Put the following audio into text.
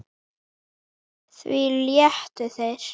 Því létu þeir